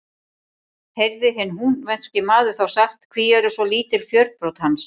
Heyrði hinn húnvetnski maður þá sagt: Hví eru svo lítil fjörbrot hans?